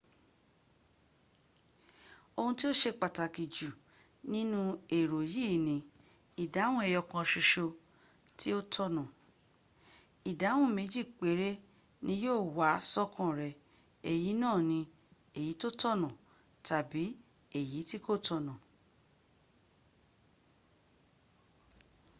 ohun tí ó se pàtàkì jù nínú èrò yìí ni : ìdáhùn ẹyọ̀kan ṣoṣo ni ó tọ̀na. ìsáhùn méjì péré ni yíò wá sọ́kàn rẹ èyí náà ni èyí tó tọ̀nà tàbí èyí tí kò tọ̀nà